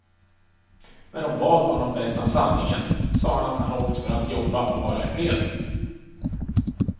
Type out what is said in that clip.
När hon bad honom berätta sanningen sa han att han åkt för att jobba och vara ifred.